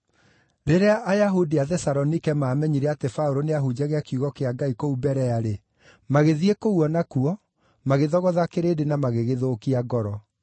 Rĩrĩa Ayahudi a Thesalonike maamenyire atĩ Paũlũ nĩahunjagia kiugo kĩa Ngai kũu Berea-rĩ, magĩthiĩ kũu o nakuo, magĩthogotha kĩrĩndĩ na magĩgĩthũkia ngoro.